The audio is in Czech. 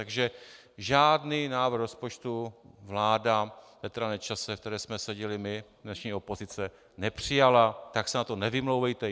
Takže žádný návrh rozpočtu vláda Petra Nečase, ve které jsme seděli my, dnešní opozice, nepřijala, tak se na to nevymlouvejte.